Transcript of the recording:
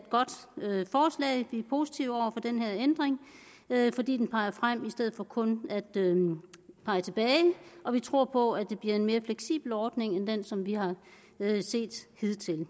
positive over for den her ændring fordi den peger frem i stedet for kun at pege tilbage og vi tror på at det bliver en mere fleksibel ordning end den som vi har set hidtil